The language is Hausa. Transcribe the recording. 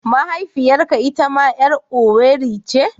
Mahaifiyarka itama 'yar Owerri ce?